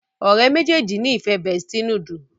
ọ̀rẹ́ méjèèjì ní ìfẹ bestie noodle